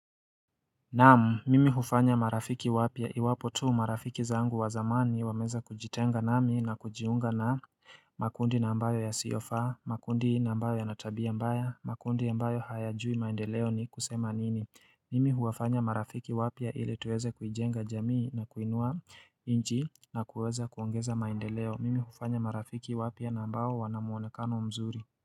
Naam, mimi hufanya marafiki wapya iwapo tu marafiki zangu wa zamani wameweza kujitenga nami na kujiunga na makundi na ambayo yasiofaa, makundi na ambayo yana tabia mbaya, makundi ambayo hayajui maendeleo ni kusema nini Mimi huwafanya marafiki wapya ili tuweze kujenga jamii na kuinua inji na kuweza kuongeza maendeleo, mimi hufanya marafiki wapya na ambao wana muonekano mzuri.